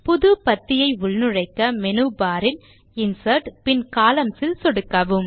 புது பத்தியை உள்நுழைக்க மேனு பார் இல் இன்சர்ட் பின் கொலம்ன்ஸ் ல் சொடுக்கவும்